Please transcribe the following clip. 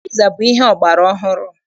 Piza bụ ihe ọgbara ọhụrụ.